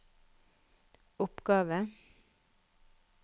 oppgave